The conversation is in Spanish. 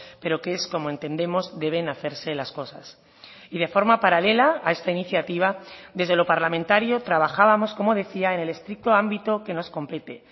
pero que es como entendemos deben hacerse las cosas y de forma paralela a esta iniciativa desde lo parlamentario trabajábamos como decía en el estricto ámbito que nos compete